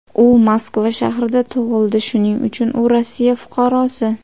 U Moskva shahrida tug‘ildi, shuning uchun u Rossiya fuqarosi.